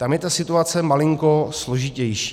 Tam je ta situace malinko složitější.